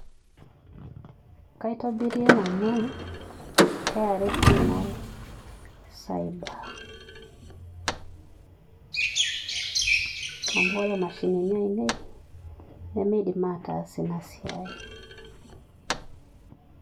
Kaitobirie nanu KRA Pin ai cyber [puase] amu ore imashinini aainei nemeidim aatas ina siai